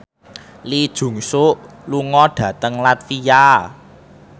Lee Jeong Suk lunga dhateng latvia